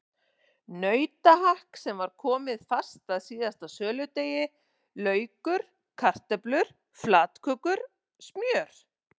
Nautahakk sem var komið fast að síðasta söludegi, laukur, kartöflur, flatkökur, smjör.